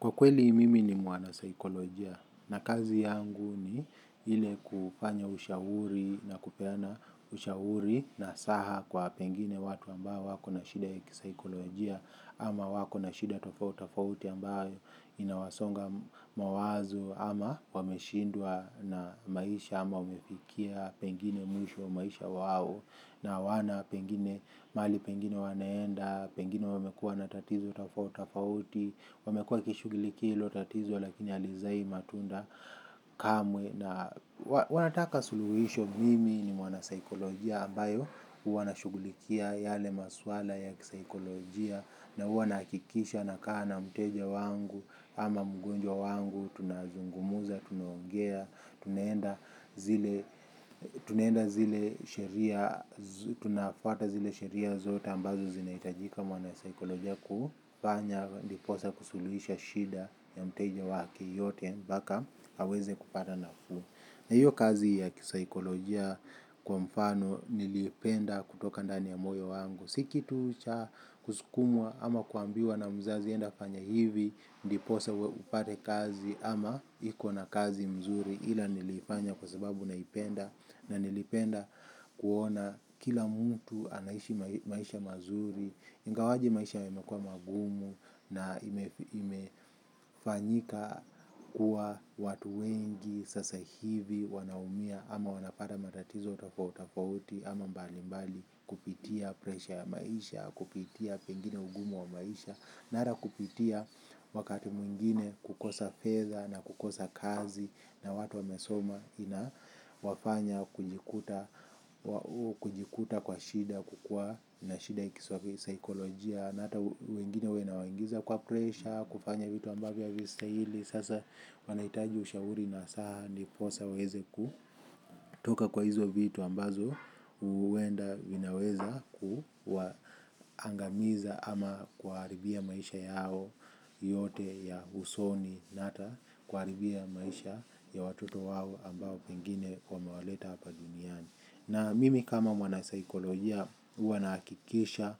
Kwa kweli mimi ni mwana saikolojia na kazi yangu ni ile kufanya ushauri na kupeana ushauri nasaha kwa pengine watu ambao wako na shida ya kisaikolojia ama wako na shida tofauti tofauti ambayo inawasonga mawazo ama wameshindwa na maisha ama umefikia pengine mwisho wa maisha wao na hawana pengine mahali pengine wanaenda, pengine wamekua na tatizo tofauti tofauti, wamekua wakishugulikia hilo tatizo lakini halizai matunda kamwe na wanataka suluhuhisho mimi ni mwana saikolojia ambayo huwa nashugulikia yale maswala ya kisaikolojia na huwa nahakikisha na kaa na mteja wangu ama mgonjwa wangu tunazungumza, tunaongea tunaenda zile tunaenda zile sheria tunafuata zile sheria zote ambazo zinahitajika mwana saikoloja kufanya ndiposa kusuluhisha shida ya mteja wake yote mpaka aweze kupata nafuu na hiyo kazi ya kisaikoloja kwa mfano nilipenda kutoka ndani ya moyo wangu. Si kitu cha kusukumwa ama kuambiwa na mzazi enda fanya hivi. Ndiposa upate kazi ama ikona kazi mzuri ila niliifanya kwa sababu naipenda. Na nilipenda kuona kila mtu anaishi maisha mazuri. Ingawaje maisha yamekua magumu na imefanyika kuwa watu wengi sasa hivi wanaumia ama wanapata matatizo tofauti tofauti ama mbali mbali kupitia presha ya maisha kupitia pengine ugumu wa maisha na hata kupitia wakati mwingine kukosa fedha na kukosa kazi na watu wamesoma ina wafanya kujikuta kwa shida kukua na shida ya kisaikolojia na hata wengine huwa inawaingiza kwa presha kufanya vitu ambavyo havistahili sasa wanahitaji ushauri nasaha ndiposa waweze kutoka kwa hizo vitu ambazo huenda vinaweza kuangamiza ama kuwaharibia maisha yao yote ya usoni na hata kuharibia maisha ya watoto wao ambao pengine wamewaleta hapa duniani. Na mimi kama mwanasaikolojia huwa nahakikisha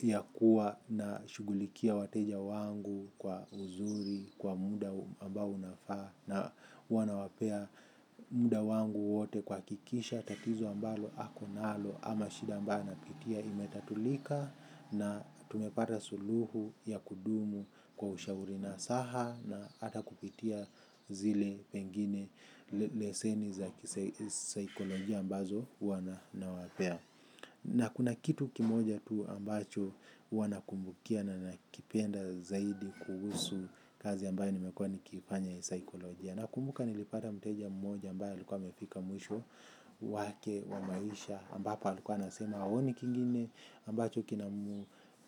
ya kuwa na shugulikia wateja wangu kwa uzuri kwa muda ambao unafaa na huwa nawapea muda wangu wote kuhakikisha tatizo ambalo ako nalo ama shida ambayo anapitia imetatulika na tumepata suluhu ya kudumu kwa ushauri nasaha na hata kupitia zile pengine leseni za saikolojia. Wana nawapea na kuna kitu kimoja tu ambacho huwa nakumbukia na nakipenda zaidi kuhusu kazi ambayo nimekuwa nikiifanya ya saikolojia nakumbuka nilipata mteja mmoja ambaye alikuwa amefika mwisho wake wa maisha ambapo alikuwa anasema haoni kingine ambacho kina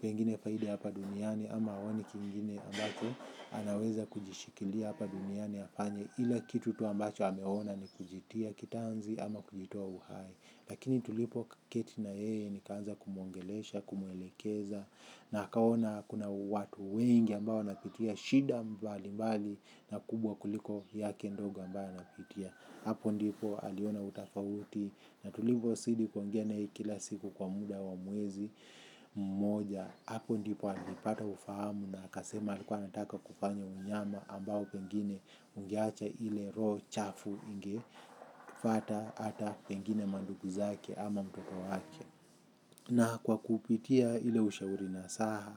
pengine faidi hapa duniani ama haoni kingine ambacho anaweza kujishikilia hapa duniani afanye ila kitu tu ambacho ameona ni kujitia kitanzi ama kujitoa uhai. Lakini tulipo keti na yeye nikaanza kumwongelesha, kumuelekeza. Na akaona kuna watu wengi ambao wanapitia shida mbali mbali. Na kubwa kuliko yake ndogo ambayo anapitia. Hapo ndipo aliona utofauti. Na tulipo zidi kuongea naye kila siku kwa muda wa mwezi mmoja. Hapo ndipo alipata ufahamu na akasema alikuwa anataka kufanya unyama ambao pengine ungeacha ile roho chafu inge fuata hata pengine mandugu zake ama mtoto wake na kwa kupitia ile ushauri nasaha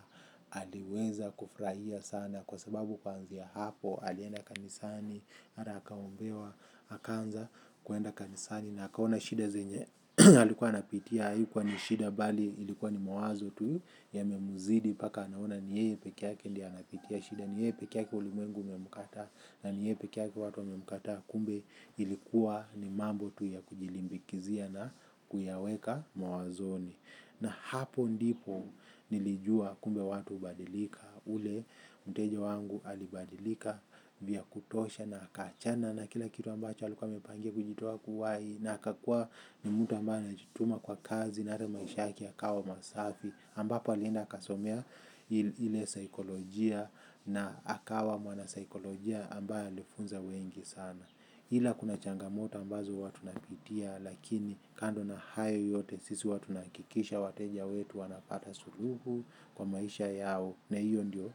aliweza kufurahia sana kwa sababu kuanzia hapo alienda kanisani hata akaombewa akaanza kwenda kanisani na akaona shida zenye alikuwa anapitia haikuwa ni shida bali ilikuwa ni mawazo tu yamemzidi mpaka anaona ni yeye pekeyake ndiye anapitia shida ni yeye pekeyake ulimwengu umemkataa. Na ni yeye pekeyake watu wamemkataa kumbe ilikuwa ni mambo tu ya kujilimbikizia na kuyaweka mawazoni. Na hapo ndipo nilijua kumbe watu hubadilika ule mteja wangu alibadilika vya kutosha na akaachana na kila kitu ambacho alikuwa amepangia kujitoa uhai na aka kuwa ni mtu ambaye anajituma kwa kazi na hata maisha yake yakawa masafi ambapo alienda akasomea ile saikolojia na akawa mwanasaikolojia ambaye alifunza wengi sana ila kuna changamoto ambazo huwa tunapitia lakini kando na hayo yote sisi huwa tunahakikisha wateja wetu wanapata suluhu kwa maisha yao na hiyo ndio.